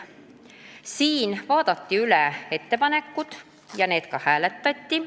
Siis vaadati üle ettepanekud ja neid ka hääletati.